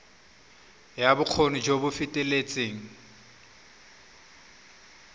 ya bokgoni jo bo feteletseng